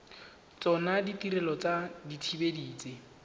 tsona ditirelo tsa dithibedi tse